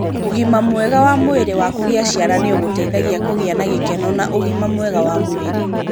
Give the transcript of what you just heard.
Ũgima mwega wa mwĩrĩ wa kugĩa ciana nĩ ũgũteithagia kũgĩa na gĩkeno na ũgima mwega wa mwĩrĩ.